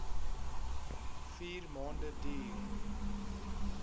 vier maande duur